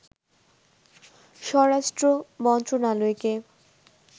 স্বরাষ্ট্র মন্ত্রণালয়কে